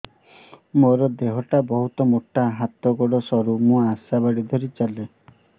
ମୋର ଦେହ ଟା ବହୁତ ମୋଟା ହାତ ଗୋଡ଼ ସରୁ ମୁ ଆଶା ବାଡ଼ି ଧରି ଚାଲେ